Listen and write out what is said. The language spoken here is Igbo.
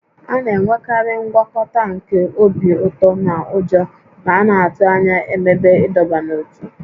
A na-enwekarị ngwakọta nke obi ụtọ na ụjọ ma a na-atụ anya ememe ịdọba n'ótú